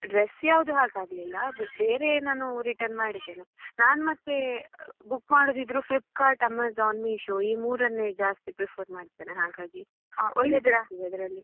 Dress ಯಾವ್ದು ಹಾಗೆ ಆಗ್ಲಿಲ್ಲ ಬೇರೆ ನಾನು return ಮಾಡಿದ್ದೇನೆ ನಾನ್ ಮತ್ತೆ book ಮಾಡುದಿದ್ರು Flipkart, Amazon, Meesho ಈ ಮೂರನ್ನೇ ಜಾಸ್ತಿಯಾಗಿ prefer ಮಾಡ್ತೇನೆ ಹಾಗಾಗಿ ಒಳ್ಳೆದಿರ್ತದೆ ಅದ್ರಲ್ಲಿ.